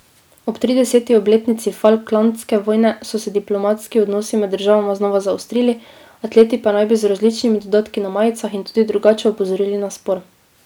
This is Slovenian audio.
Ob trideseti obletnici falklandske vojne so se diplomatski odnosi med državama znova zaostrili, atleti pa naj bi z različnimi dodatki na majicah in tudi drugače opozorili na spor.